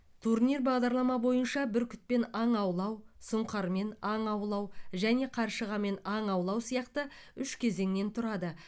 турнир бағдарлама бойынша бүркітпен аң аулау сұңқармен аң аулау және қаршығамен аң аулау сияқты үш кезеңнен тұрады